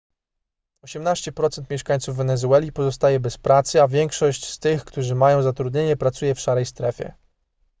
18% mieszkańców wenezueli pozostaje bez pracy a większość z tych którzy mają zatrudnienie pracuje w szarej strefie